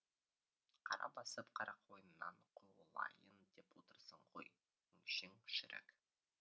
қара басып қарақойыннан қуылайын деп отырсың ғой өңшең шірік